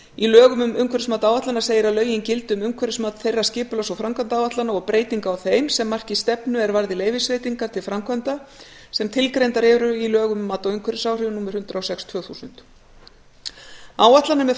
í lögum um umhverfismat áætlana segir að lögin gildi um umhverfismat þeirra skipulags og framkvæmdaáætlana og breytinga á þeim sem marki stefnu er varði leyfisveitingar til framkvæmda sem tilgreindar eru í lögum um mat á umhverfisáhrifum númer hundrað og sex tvö þúsund áætlanir með